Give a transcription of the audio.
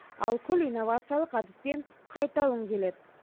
ал күл инновациялық әдіспен қайта өңделеді